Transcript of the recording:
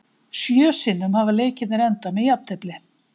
Sjö sinnum hafa leikirnir endað með jafntefli.